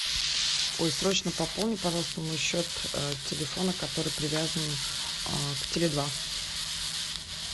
ой срочно пополни пожалуйста мой счет телефона который привязан к теле два